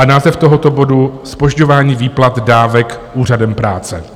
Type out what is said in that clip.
A název tohoto bodu: Zpožďování výplat dávek Úřadem práce.